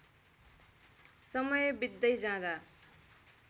समय बित्दै जाँदा